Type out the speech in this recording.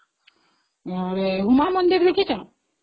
ଉମା ମନ୍ଦିର ଦେଖିଛ ?